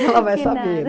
Ela vai saber. Que nada.